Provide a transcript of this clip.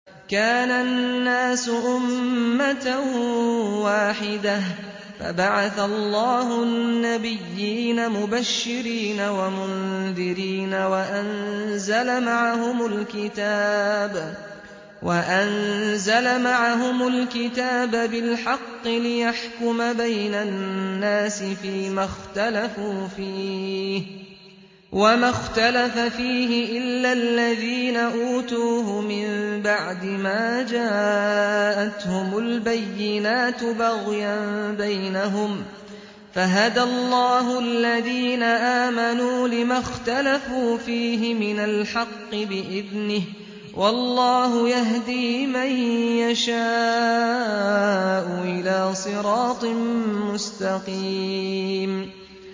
كَانَ النَّاسُ أُمَّةً وَاحِدَةً فَبَعَثَ اللَّهُ النَّبِيِّينَ مُبَشِّرِينَ وَمُنذِرِينَ وَأَنزَلَ مَعَهُمُ الْكِتَابَ بِالْحَقِّ لِيَحْكُمَ بَيْنَ النَّاسِ فِيمَا اخْتَلَفُوا فِيهِ ۚ وَمَا اخْتَلَفَ فِيهِ إِلَّا الَّذِينَ أُوتُوهُ مِن بَعْدِ مَا جَاءَتْهُمُ الْبَيِّنَاتُ بَغْيًا بَيْنَهُمْ ۖ فَهَدَى اللَّهُ الَّذِينَ آمَنُوا لِمَا اخْتَلَفُوا فِيهِ مِنَ الْحَقِّ بِإِذْنِهِ ۗ وَاللَّهُ يَهْدِي مَن يَشَاءُ إِلَىٰ صِرَاطٍ مُّسْتَقِيمٍ